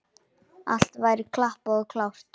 Allt væri klappað og klárt.